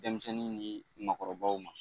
Denmisɛnnin nin makɔrɔbaw ma.